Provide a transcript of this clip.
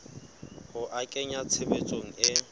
ho a kenya tshebetsong e